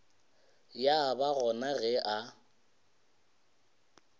ya ba gona ge a